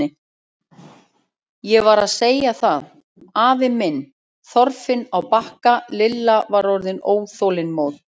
Ég var að segja það, afa minn, Þorfinn á Bakka Lilla var orðin óþolinmóð.